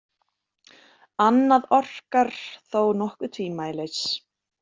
Annað orkar þó nokkuð tvímælis.